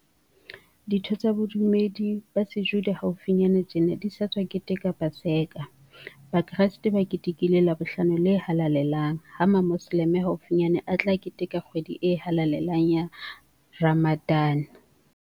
Ditho tsa bodumedi ba Sejuda haufinyane tjena di sa tswa keteka Paseka, Bakreste ba ketekile Labohlano le halalelang ha Mamoselemo haufinyane a tla keteka kgwedi e halalelang ya Ramadan.